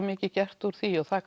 mikið gert úr því og það